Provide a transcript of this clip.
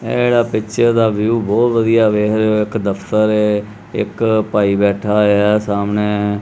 ਐੜਾ ਪਿੱਛੇ ਦਾ ਵਿਊ ਬਹੁਤ ਵਧੀਆ ਵੇਖ ਰਹੇ ਹੋ ਇੱਕ ਦਫਤਰ ਹ ਇੱਕ ਭਾਈ ਬੈਠਾ ਹੋਇਆ ਸਾਹਮਣੇ।